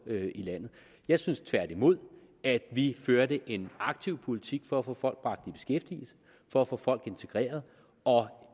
i landet jeg synes tværtimod at vi førte en aktiv politik for at få folk bragt i beskæftigelse for at få folk integreret og